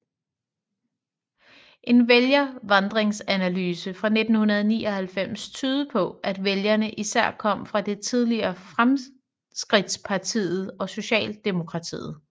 En vælgervandringsanalyse fra 1999 tydede på at vælgerne især kom fra det tidligere Fremskridtspartiet og Socialdemokratiet